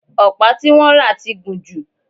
ọ̀pá tí wọ́n rà ti gùn jù